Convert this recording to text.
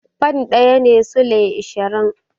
Fan ɗaya shine sulai ashirin.